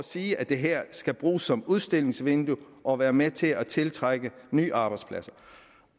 sige at det her skal bruges som udstillingsvindue og være med til at tiltrække nye arbejdspladser